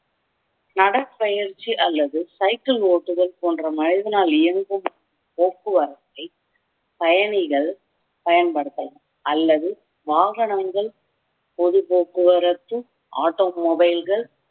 நடை பயிற்சி அல்லது சைக்கிள் ஓட்டுதல் போன்ற மனிதனால் இயங்கும் போக்குவரத்தை பயணிகள் பயன்படுத்தலாம் அல்லது வாகனங்கள் பொது போக்குவரத்து ஆட்டோ மொபைல்கள்